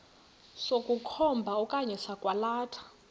sokukhomba okanye sokwalatha